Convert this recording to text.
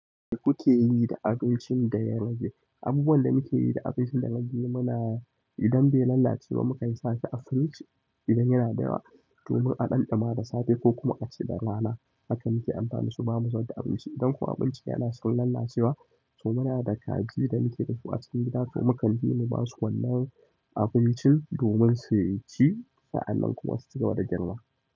Abinda kuke yi da abincin da ya rage, abubuwan da muke yi da abincin da ya rage muna idan bai lalace ba mukan sa shi a firiji idan yana dayawa domin a ɗanɗama da safe ko kuma a ci da rana. Haka muke amfani da su bamu zubar da abinci. Idan kuma abincin yana son lalacewa to muna da kaji da muke dasu a cikin gida to mukan ji mu basu wannan abincin domin suyi ci sa'annan kuma su cigaba da girma.